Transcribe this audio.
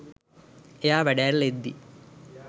එයා වැඩ ඇරිල එද්දි